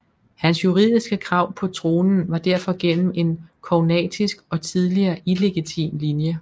Hans juridiske krav på tronen var derfor gennem en kognatisk og tidligere illegitim linje